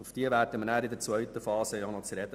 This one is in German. Auf diese kommen wir anschliessend noch zu sprechen.